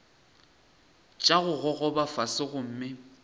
tša go gogoba fase gomme